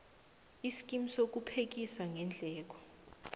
iskimu sokuphekisa ngeendleko